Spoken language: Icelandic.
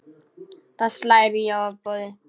Það slær í ofboði.